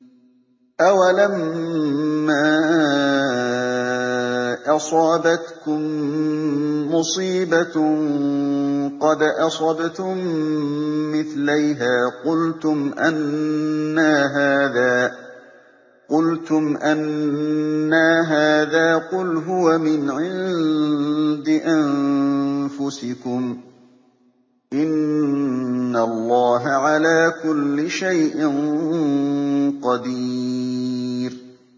أَوَلَمَّا أَصَابَتْكُم مُّصِيبَةٌ قَدْ أَصَبْتُم مِّثْلَيْهَا قُلْتُمْ أَنَّىٰ هَٰذَا ۖ قُلْ هُوَ مِنْ عِندِ أَنفُسِكُمْ ۗ إِنَّ اللَّهَ عَلَىٰ كُلِّ شَيْءٍ قَدِيرٌ